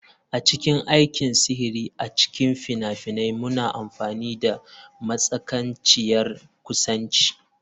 A cikin aikin sihiri a cikin fina-finai muna amfani da matsananciyar kusanci.